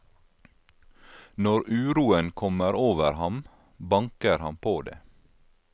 Når uroen kommer over ham, banker han på det.